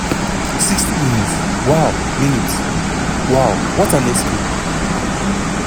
60 mins - wow mins - wow what an escape.